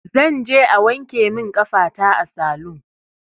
Zanje a wanke min ƙafata a salun